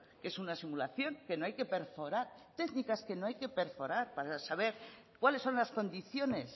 que es una simulación que no hay que perforar técnicas que no hay que perforar para saber cuáles son las condiciones